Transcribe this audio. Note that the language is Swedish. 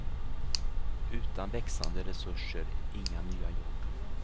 Utan växande resurser inga nya jobb.